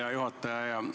Hea juhataja!